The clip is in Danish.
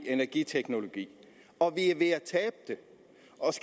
energiteknologi og